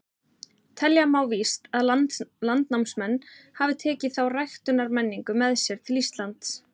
Telja má víst að landnámsmenn hafi tekið þá ræktunarmenningu með sér til Íslands.